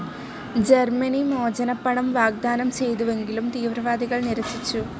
ജർമിനി മോചനപ്പണം വാഗ്ദാനം ചെയ്തുവെങ്കിലും തീവ്രവാദികൾ നിരസിച്ചു.